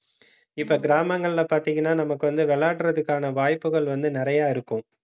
இப்ப கிராமங்கள்ல பார்த்தீங்கன்னா, நமக்கு வந்து விளையாடுறதுக்கான வாய்ப்புகள் வந்து நிறைய இருக்கும்